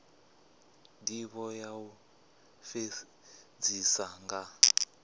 ndivho ya u fhedzisa nga